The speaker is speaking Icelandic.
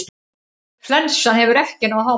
Flensan hefur ekki náð hámarki.